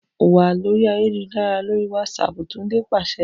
Wa lori ayelujara lori Whatsapp! Tunde paṣẹ